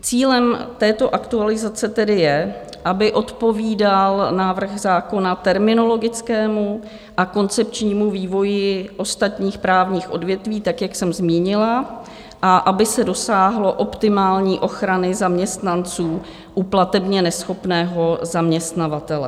Cílem této aktualizace tedy je, aby odpovídal návrh zákona terminologickému a koncepčnímu vývoji ostatních právních odvětví, tak jak jsem zmínila, a aby se dosáhlo optimální ochrany zaměstnanců u platebně neschopného zaměstnavatele.